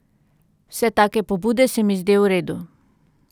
Vse take pobude se mi zde v redu.